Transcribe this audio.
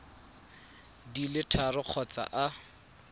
di le tharo kgotsa a